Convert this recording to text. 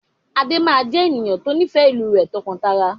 Adé máa jẹ ènìyàn to nifẹ ìlú rẹ tọ́kan-tara.